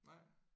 Nej?